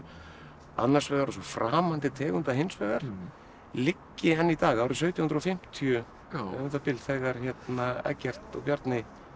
annars vegar og svo framandi tegunda hins vegar liggi enn í dag árið sautján hundruð og fimmtíu eða um það bil þegar Eggert og Bjarni